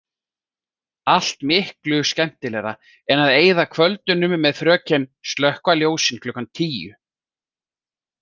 Allt miklu skemmtilegra en að eyða kvöldunum með fröken „slökkva ljósin klukkan tíu“.